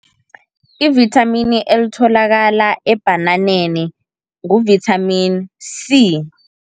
I-vithamini elitholakala ebhananeni ngu-vitamin C.